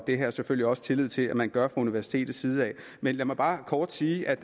har jeg selvfølgelig også tillid til at man gør universitetets side men lad mig bare kort sige at